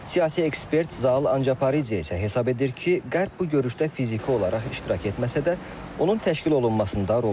Siyasi ekspert Zaal Ancaparidze isə hesab edir ki, Qərb bu görüşdə fiziki olaraq iştirak etməsə də, onun təşkil olunmasında rol oynayıb.